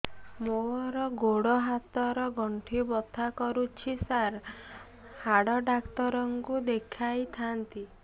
ମୋର ଗୋଡ ହାତ ର ଗଣ୍ଠି ବଥା କରୁଛି ସାର ହାଡ଼ ଡାକ୍ତର ଙ୍କୁ ଦେଖାଇ ଥାନ୍ତି